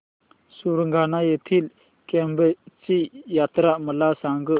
सुरगाणा येथील केम्ब ची यात्रा मला सांग